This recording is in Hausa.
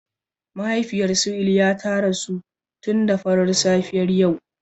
Mahaifiyar su Iliya ta rasu tun da farar safiyar yau.